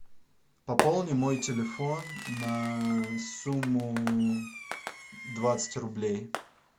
пополни мой телефон на сумму двадцать рублей